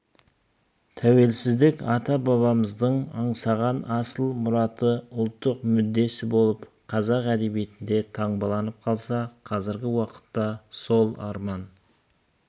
тәуелсіздік ата-бабамыздың аңсаған асыл мұраты ұлттық мүддесі болып қазақ әдебиетінде таңбаланып қалса қазіргі уақытта сол арман